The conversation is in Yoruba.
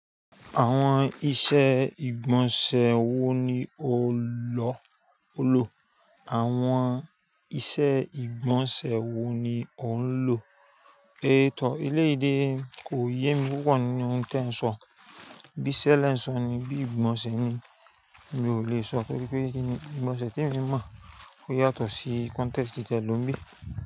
Àwọn ìṣe ìgbọ̀nsẹ̀ wo ni o lò? Àwọn ìṣe ìgbọ̀nsẹ̀ wo ni o ń lò? É tọ́, eléyìí dé, kò yé mi púpọ̀ ní ohun tí ẹ ń sọ. Bí iṣẹ́ lẹ ń sọ ni, bí i ìgbọ̀nsẹ̀ ni, mi ò lè sọ toripé kíni ìgbọ̀nsẹ̀ tí emi mọ̀ ó yàtọ̀ sí context tí ẹ lò ń bí.